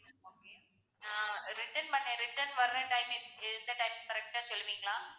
ஆஹ் return பண்ண return வர்ற timing க்கு எந்த time correct டா சொல்லுவிங்களா?